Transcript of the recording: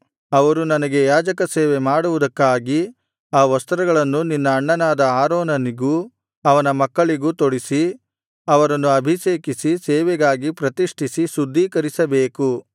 ಅವರು ನನಗೆ ಯಾಜಕಸೇವೆ ಮಾಡುವುದಕ್ಕಾಗಿ ಆ ವಸ್ತ್ರಗಳನ್ನು ನಿನ್ನ ಅಣ್ಣನಾದ ಆರೋನನಿಗೂ ಅವನ ಮಕ್ಕಳಿಗೂ ತೊಡಿಸಿ ಅವರನ್ನು ಅಭಿಷೇಕಿಸಿ ಸೇವೆಗಾಗಿ ಪ್ರತಿಷ್ಠಿಸಿ ಶುದ್ಧೀಕರಿಸಿಬೇಕು